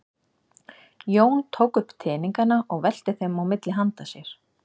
Jón tók upp teningana og velti þeim á milli handa sér.